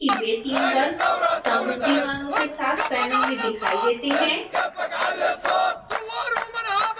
आप देखेंगे कि वे 3 वर्ग समरूपी मानों के साथ पैनल में दिखाई देते हैं